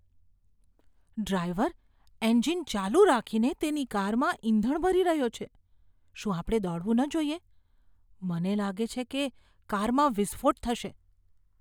Driver engine ચાલુ રાખીને તેની કારમાં ઇંધણ ભરી રહ્યો છે. શું આપણે દોડવું ન જોઈએ? મને લાગે છે કે કારમાં વિસ્ફોટ થશે.